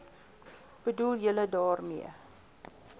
bedoel julle daarmee